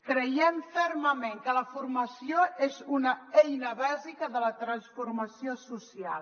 creiem fermament que la formació és una eina bàsica de la transformació social